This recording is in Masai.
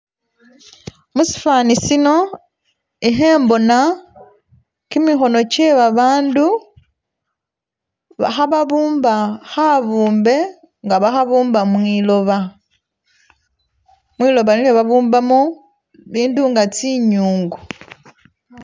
musifaani sino ihembona kimihono kye babandu ba hababumba habumbe nga bahabumba mwiloba, mwiloba nilyo babumbamu bindi nga tsi'nyungu